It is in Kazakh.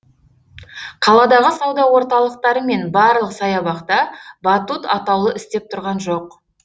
қаладағы сауда орталықтары мен барлық саябақта батут атаулы істеп тұрған жоқ